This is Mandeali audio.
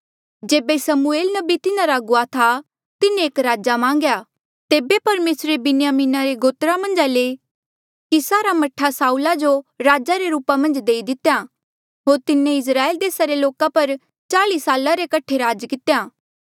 जेबे समूएल नबी तिन्हारा अगुवा था तिन्हें एक राजा मान्गेया तेबे परमेसरे बिन्यामिना रे गोत्रा मन्झा ले कीसा रा मह्ठा साऊल जो राजे रे रूपा मन्झ देई दितेया होर तिन्हें इस्राएल देसा रे लोका पर चाल्ई साला रे कठे राज कितेया